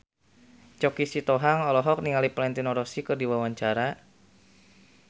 Choky Sitohang olohok ningali Valentino Rossi keur diwawancara